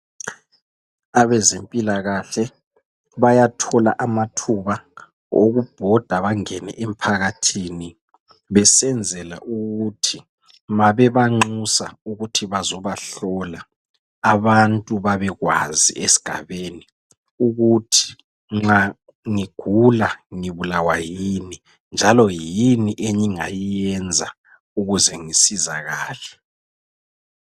Abezempilakahle bayathola amathuba, okubhoda bangene emphakathini. Besenzela ukuthi ma bebanxusa ukuthi bazobahlola, Abantu babekwazi esigabeni ukuthi nxa ngigula ngibulawa yini, njalo yini engingayenza ukuze ngisizakale